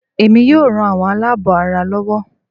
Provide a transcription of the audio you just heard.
Èmi yóò ran àwọn aláàbọ̀ ara lọwọ́